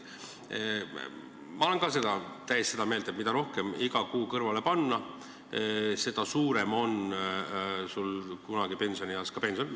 Minagi olen täiesti seda meelt, et mida rohkem iga kuu kõrvale panna, seda suurem on kunagi pensionieas pension.